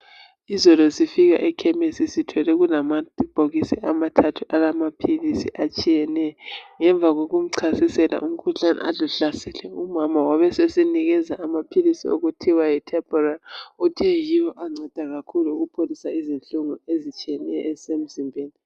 izolo sifika ekhemsi sithole kulamabhokisi ama thathu awamaphilisi atshiyeneyo ngemva kokumchasisela umkhuhlane ade uhlasele umama wabesesinikeza amaphilisi okuthiwa yi uthe yiwo anceda kakhulu ukupholisa izinhlungu ezisemzimbeni